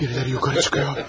Biriləri yuxarı çıxır.